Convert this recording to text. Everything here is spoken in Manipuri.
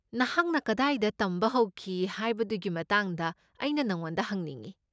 ꯃꯍꯥꯛꯅ ꯀꯗꯥꯏꯗ ꯇꯝꯕ ꯍꯧꯈꯤ ꯍꯥꯏꯕꯗꯨꯒꯤ ꯃꯇꯥꯡꯗ ꯑꯩꯅ ꯅꯉꯣꯟꯗ ꯍꯪꯅꯤꯡꯢ꯫